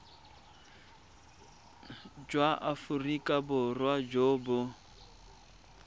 jwa aforika borwa jo bo